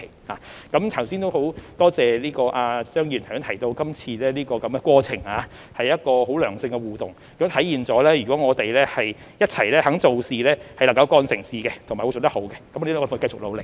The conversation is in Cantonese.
很感謝張議員剛才提到今次的過程是一個良性互動，亦體現了我們若願意一起做事，便能夠幹成事和做得好，我們會繼續努力。